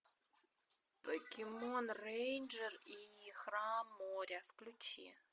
покемон рейнджер и храм моря включи